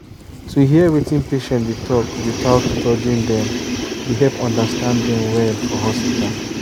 to hear wetin patient dey talk without judging dem dey help understand dem well for hospital.